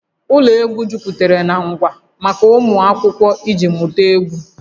Ụlọ egwu jupụtara na ngwa maka ụmụ akwụkwọ iji mụta egwu